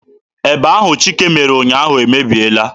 Eba ahụ Chika mere ụnyaahụ emebiela.